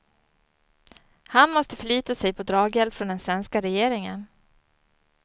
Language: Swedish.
Han måste förlita sig på draghjälp från den svenska regeringen.